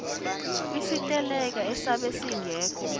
kwisiteleka esabe singekho